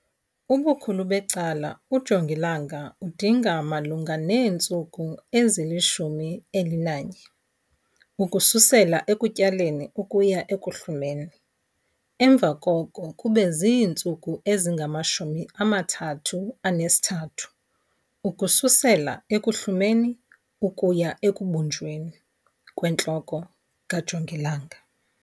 Ubukhulu becala ujongilanga udinga malunga neentsuku ezili-11 ukususela ekutyaleni ukuya ekuhlumeni, emva koko kube ziintsuku ezingama-33 ukususela ekuhlumeni ukuya ekubunjweni 'kwentloko kajongilanga'.